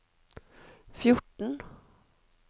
fjorten